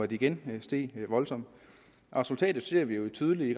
de igen steg voldsomt resultatet ser vi jo tydeligt i